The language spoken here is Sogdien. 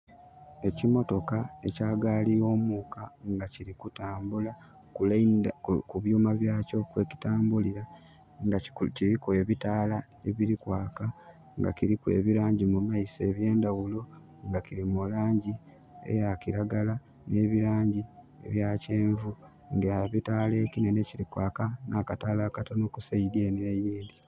Ekimotoka ekya gaali y'omuuka nga kiri kutambula ku byuma byakyo kwekitambulira nga kiriku ebitaala ebiri kwaka nga kiriku ebirangi mumaiso ebyendhaghulo nga kiri mu langi eya kiragala nh'ebirangi ebya kyenvu nga ekitaala ekinhenhe kiri kwaka nha akataala akatonho ku saidi enho eyindhi.